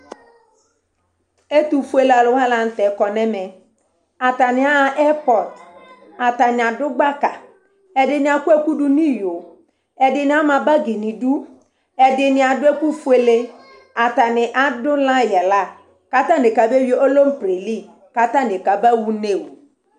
Ɛtʋfuele alʋ wa la nʋ tɛ kɔ nʋ ɛmɛ Atanɩ aɣa ɛrpɔt Atanɩ adʋ gbaka, ɛdɩnɩ akɔ ɛkʋ dʋ nʋ iyo Ɛdɩnɩ ama bagɩ nʋ idu, ɛdɩnɩ adʋ ɛkʋfuele Atanɩ adʋ layɩ yɛ la kʋ atanɩ kabeyui erople li kʋ atanɩ kabaɣa une oo